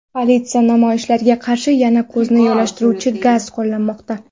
Politsiya namoyishchilarga qarshi yana ko‘zni yoshlantiruvchi gaz qo‘llamoqda.